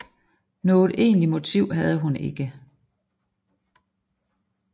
Noget egentligt motiv havde hun ikke